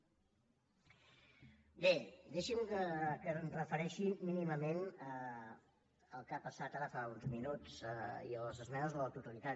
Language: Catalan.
bé deixi’m que em refereixi mínimament al que ha passat ara fa uns minuts i a les esmenes a la totalitat